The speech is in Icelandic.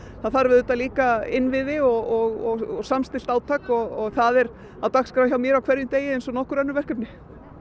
það þarf auðvitað líka innviði og samstillt átak og það er á dagskrá hjá mér á hverjum degi eins og nokkur önnur verkefni